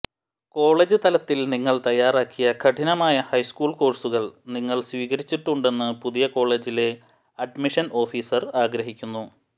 college തലത്തിൽ നിങ്ങൾ തയ്യാറാക്കിയ കഠിനമായ ഹൈസ്കൂൾ കോഴ്സുകൾ നിങ്ങൾ സ്വീകരിച്ചിട്ടുണ്ടെന്ന് പുതിയ കോളജിലെ അഡ്മിഷൻ ഓഫീസർ ആഗ്രഹിക്കുന്നു